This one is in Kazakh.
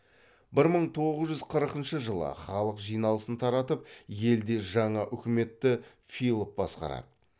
бір мың тоғыз жүз қырқыншы жылы халық жиналысын таратып елде жаңа үкіметті филов басқарады